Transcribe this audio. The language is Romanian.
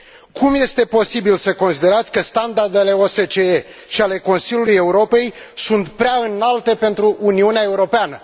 Cum este posibil să considerați că standardele OSCE și ale Consiliului Europei sunt prea înalte pentru Uniunea Europeană?